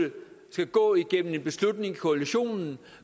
skal gå igennem koalitionen